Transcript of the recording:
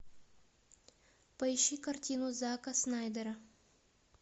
поищи картину зака снайдера